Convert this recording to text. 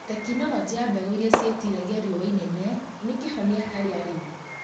Tekinoroji ya mbegũ irĩa ciĩtiragia riũa inene nĩ kĩhonia harĩ arĩmi